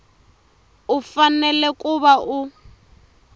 u fanele ku va u